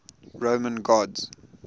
roman gods